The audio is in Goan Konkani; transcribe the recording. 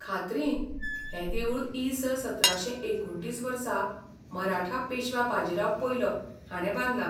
खात्रीन, हें देवूळ इ.स. सतराशे एकुणतीस वर्सा, मराठा पेशवा बाजीराव पयलो हाणें बांदलां.